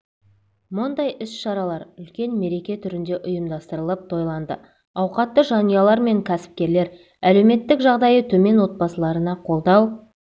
мұндай іс-шаралар үлкен мереке түрінде ұйымдастырылып тойланды ауқатты жанұялар мен кәсіпкерлер әлеуметтік жағдайы төмен отбасыларына қолдау